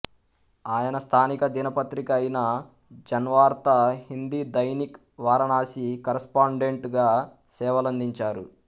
ఆయన స్థానిక దినపత్రిక అయిన జన్వర్తా హిందీ దైనిక్ వారణాసి కరస్పాండెంట్ గా సేవలందించారు